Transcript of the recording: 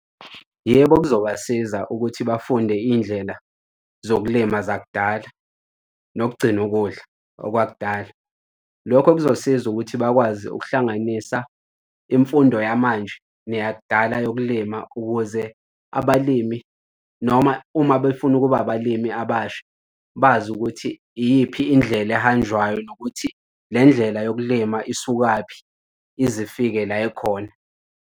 Yebo, kuzobasiza ukuthi bafunde iy'ndlela zokulima zakudala nokugcina ukudla okwakudala. Lokho kuzosiza ukuthi bakwazi ukuhlanganisa imfundo yamanje neyakudala yokulima, ukuze abalimi noma uma befuna ukuba abalimi abasha bazi ukuthi iyiphi indlela ehanjwayo nokuthi le ndlela yokulima isukaphi ize ifike la ikhona.